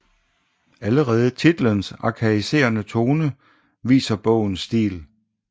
Allerede titelens arkaiserende tone viser bogens stil